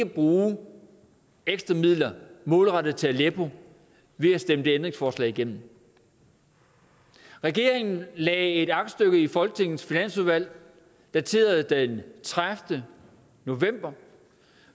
bruge ekstra midler målrettet til aleppo ved at stemme det ændringsforslag igennem regeringen lagde et aktstykke i folketingets finansudvalg dateret den tredivete november